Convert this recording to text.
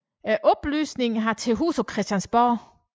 Oplysningen har til huse på Christiansborg